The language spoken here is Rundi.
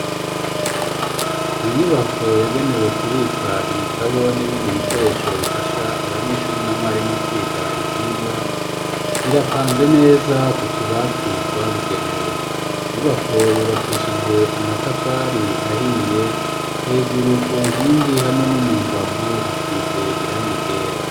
Mu nyubako yagenewe kubika ibitabo n'ibindi bikoresho bifasha abanyeshuri na mwarimu kwiga ivyigwa, birapanze neza kutubati twabugenewe. Inyubako yubakishije amatafari ahiye, hejuru ku nkingi hamwe no mu mbavu hasize irangi ryera.